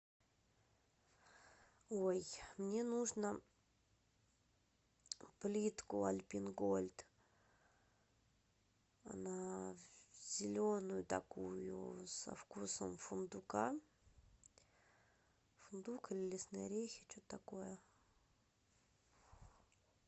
ой мне нужно плитку альпен гольд она зеленую такую со вкусом фундука фундук или лесные орехи че то такое